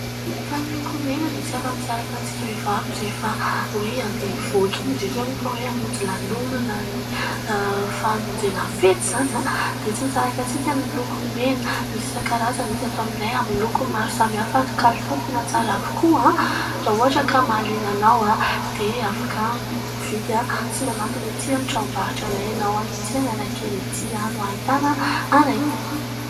Fa ny lokomena dia tsy afa-misaraka amintsika vehivavy rehefa hoe andeha hivoaka iny indridra moa fa hoe hamonjy lanonana, ny famonjena fety izany, dia tsy misaraka amintsika ny lokomena. Misy isankarazany izy ato aminay amin'ny loko maro samy hafa ary kalitao tena tsara avokoa. Raha ohatra ka mahaliana anao dia afaka mividy sy manantona etỳ amin'ny tranom-barotra anay ianao, etỳ Analakely etỳ no hahitana anay.